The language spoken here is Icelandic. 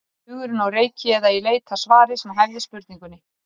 Hugurinn á reiki eða í leit að svari sem hæfði spurningunni.